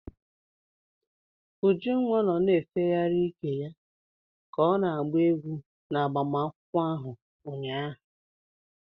Ujunwa nọ na-efegharị ike ya ka ọ na-agba egwu n'agbamakwụkwọ ahụ ụnyaahụ.